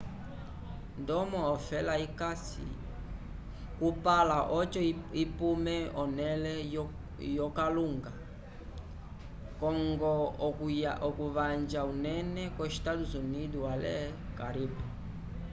ndomo ofela ikasi kupala oco ipume onele yo kalunga co ngo okuvanja unene ko estados unidos ale caribe